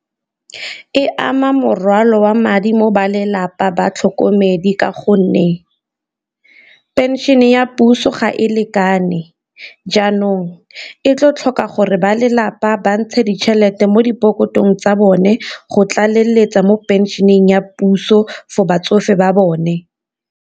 E ama morwalo wa madi mo balelapa ba tlhokomedi ka gonne pension e ya puso ga e lekane, jaanong o tlo tlhoka gore ba lelapa ba ntshe ditšhelete mo dipokotong tsa bone go tlaleletsa mo pension-eng ya puso for batsofe ba bone.